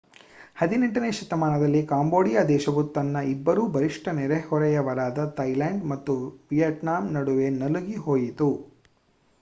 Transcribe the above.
18ನೇ ಶತಮಾನದಲ್ಲಿ ಕಾಂಬೋಡಿಯ ದೇಶವು ತನ್ನ ಇಬ್ಬರು ಬಲಿಷ್ಟ ನೆರೆಹೊರೆಯವರಾದ ಥಾಯಿಲ್ಯಾಂಡ್ ಮತ್ತು ವಿಯತ್ನಾಮ್ ನಡುವೆ ನಲುಗಿ ಹೋಯಿತು